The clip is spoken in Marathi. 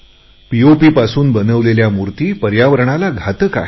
पीओपी मधून बनवलेल्या मूर्ती पर्यावरणाला अनुकूल नाहीत